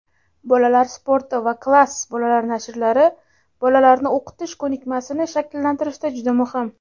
"Bolalar sporti" va "Klass" bolalar nashrlari bolalarni o‘qish ko‘nikmasini shakllantirishda juda muhim.